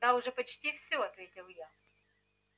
да уже почти все ответил я